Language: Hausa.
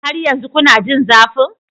Har yanzu kuna jin zafin?